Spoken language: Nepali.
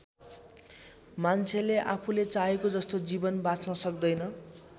मान्छेले आफूले चाहेको जस्तो जीवन बाँच्न सक्दैन।